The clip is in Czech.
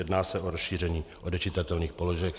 Jedná se o rozšíření odečitatelných položek.